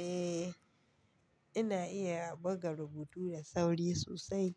Eh, ina iya buga rubutu da sauri sosai.